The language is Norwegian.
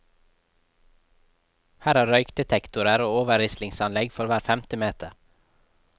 Her er røykdetektorer og overrislingsanlegg for hver femte meter.